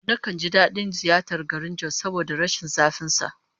Nakan ji dadin ziyartar garin Jos saboda rashin zafin sa